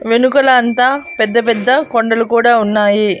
వెనుకల అంతా పెద్ద పెద్ద కొండలు కూడా ఉన్నాయి.